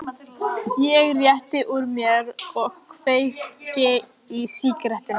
Ég rétti úr mér og kveiki í sígarettunni.